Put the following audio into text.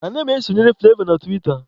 Ana m esonyere Fụlavọ na tiwita.